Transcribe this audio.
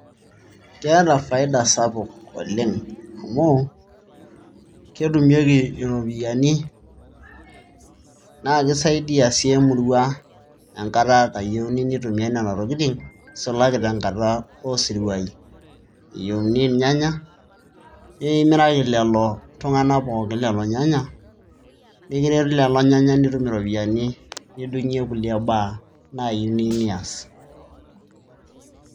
keeta faida sapuk oleng, amu kitumieki iropiyiani, naa kisaidia sii emurua, enkata nayieuni neitumiae nena tokitin, nisulaki tenkata oosiruai, eyieuni irnyanya, nikimiraki lelo tung'anak pookin lelo nyanya, nikiretu lelo nyanya nitum iropiyiani nikiretu tiae baaye naaji pookin niyieu nias.